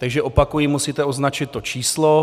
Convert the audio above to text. Takže opakuji: Musíte označit to číslo.